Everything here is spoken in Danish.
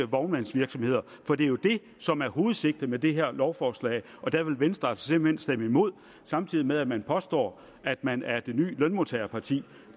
vognmandsvirksomheder for det er jo det som er hovedsigtet med det her lovforslag og der vil venstre altså simpelt hen stemme imod samtidig med at man påstår at man er det ny lønmodtagerparti